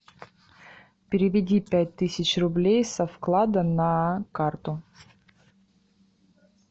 переведи пять тысяч рублей со вклада на карту